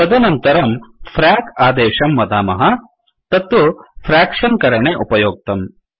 तदनन्तरं फ्रैक आदेशं वदामः तत्तु फ़्राक्शन् विभाग करणे उपयोक्तम्